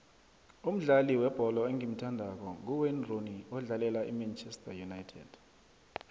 umdlali webholo engimuthandako nguwayne rooney odlalela imanchester united